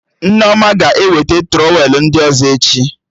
Nneoma ga-eweta trọwelụ ndị ọzọ echi